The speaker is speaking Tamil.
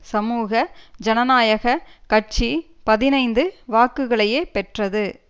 சமூக ஜனநாயக கட்சி பதினைந்து வாக்குகளையே பெற்றது